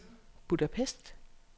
Budapest